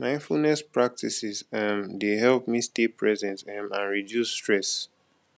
mindfulness practices um dey help me stay present um and reduce stress